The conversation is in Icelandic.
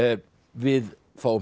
við fáum